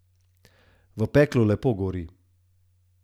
V peklu lepo gori.